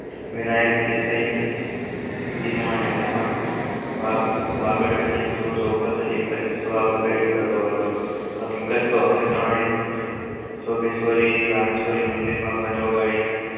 વિનાયક દેસાઈ ની ડીનું અને મોહન વાગલને એક જ જવાબ હકીકત તો અમે ત્રણે જ રામે ચોરી મંદિર માં ઘંટ વગાડી ને